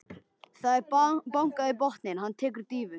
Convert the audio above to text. Það er bankað í botninn, hann tekur dýfu.